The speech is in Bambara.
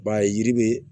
I b'a ye yiri bɛ